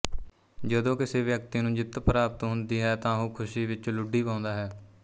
ਜਦੋਂ ਕਿਸੇ ਵਿਅਕਤੀ ਨੂੰ ਜਿੱਤ ਪ੍ਰਾਪਤ ਹੁੰਦੀ ਹੈ ਤਾਂ ਉਹ ਖੁਸ਼ੀ ਵਿੱਚ ਲੁੱਡੀ ਪਾਉਂਦਾ ਹੈ